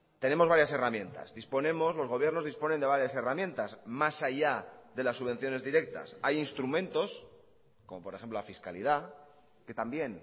tenemos varias herramientas disponemos los gobiernos disponen de varias herramientas más allá de las subvenciones directas hay instrumentos como por ejemplo la fiscalidad que también